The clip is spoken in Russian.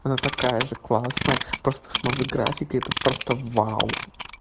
она такая же классная просто с новой графикой это просто вау